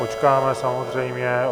Počkáme, samozřejmě.